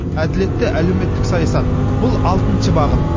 әділетті әлеуметтік саясат бұл алтыншы бағыт